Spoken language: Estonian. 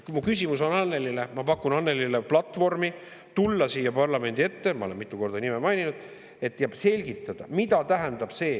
Mu küsimus on Annelyle, ma pakun Annelyle platvormi tulla siia parlamendi ette, ma olen mitu korda ta nime maininud, ja selgitada, mida see tähendab.